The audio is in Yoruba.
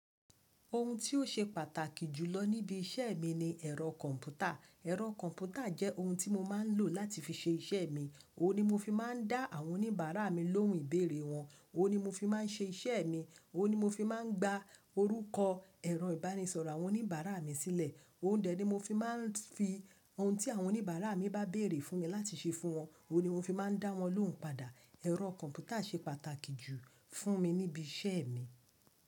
Ohun tí ó ṣe pàtàkì jù lọ níbí iṣẹ́ mi ni ẹ̀rọ kọ̀ǹpútà. Ẹ̀rọ kọ̀ǹpútà jẹ́ ohun tí mo máa ń lò láti fi ṣe iṣẹ́ mi, òun ni mo fi máa ń dá àwọn oníbàárà mi lóhùn ìbéèrè wọn, òun ni mo fi máa ń ṣe iṣẹ́ mi, òun ni mo fi máa ń gba orúkọ, ẹ̀rọ ìbánisọ̀rọ̀ àwọn oníbàárà mi sílẹ̀, oún dẹ ni mo fi máa ń fi ohun tí àwọn oníbàárà mi bá béèrè fún mi láti ṣe fún wọn, òun ni mo fi máa ń dá wọn lóhùn padà. Ẹ̀rọ kọ̀ǹpútà ṣe pàtàkì jù fún mi níbi iṣẹ́ mi.